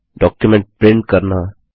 document print करना